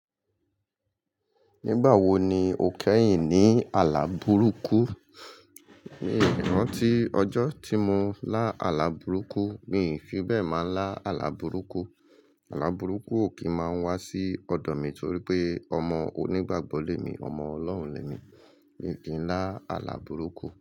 Nígbà wo ni o kẹ́yìn ní àlá burúkú? Mi ò rántí ọjọ́ tí mo lá àlá burúkú. Mi fi bẹ́ẹ̀ máa lá àlá burúkú. Àlá burúkú ò kí máa n wá sí ọ̀dọ̀ mi torí pé ọmọ onígbàgbọ́ lẹ́ mi, ọmọ Ọlọ́run lẹ́ mi. Mi ò kí ń lá àlá burúkú.